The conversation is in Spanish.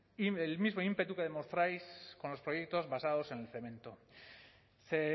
el mismo ímpetu que demostráis con los proyectos basados en el cemento ze